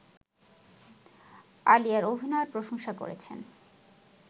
আলিয়ার অভিনয়ের প্রশংসা করেছেন